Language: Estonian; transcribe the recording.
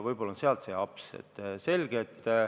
Võib-olla sealt see aps ongi tekkinud.